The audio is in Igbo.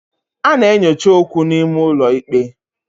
A na-enyocha okwu n'ime ụlọ ikpe.